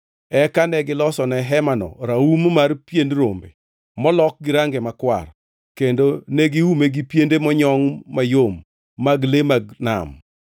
Eka negilosone hemano raum mar pien rombe molok gi range makwar kendo negiume gi piende monyongʼ mayom mag le mag nam.